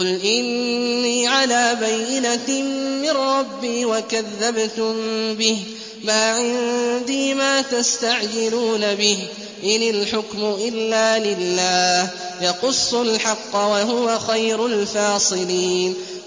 قُلْ إِنِّي عَلَىٰ بَيِّنَةٍ مِّن رَّبِّي وَكَذَّبْتُم بِهِ ۚ مَا عِندِي مَا تَسْتَعْجِلُونَ بِهِ ۚ إِنِ الْحُكْمُ إِلَّا لِلَّهِ ۖ يَقُصُّ الْحَقَّ ۖ وَهُوَ خَيْرُ الْفَاصِلِينَ